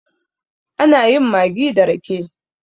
ana yin maggi da rake